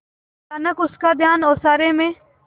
अचानक उसका ध्यान ओसारे में